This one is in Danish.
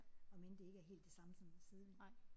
Om end det ikke er helt det samme som at sidde